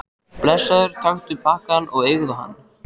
Blessaður, taktu pakkann og eigðu hann.